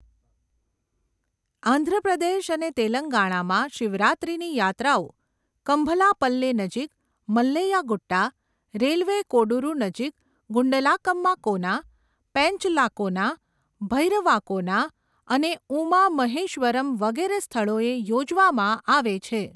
આંધ્રપ્રદેશ અને તેલંગાણામાં શિવરાત્રીની યાત્રાઓ કમ્ભલાપલ્લે નજીક મલ્લૈયા ગુટ્ટા, રેલવે કોડુરુ નજીક ગુંડલાકમ્મા કોના, પેંચલાકોના, ભૈરવાકોના અને ઉમા મહેશ્વરમ વગેરે સ્થળોએ યોજવામાં આવે છે.